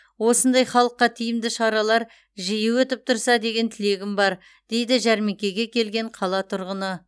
осындай халыққа тиімді шаралар жиі өтіп тұрса деген тілегім бар дейді жәрмеңкеге келген қала тұрғыны